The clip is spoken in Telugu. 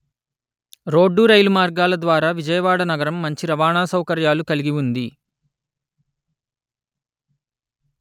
రోడ్డు రైలు మార్గాల ద్వారా విజయవాడ నగరం మంచి రవాణా సౌకర్యాలు కలిగి ఉంది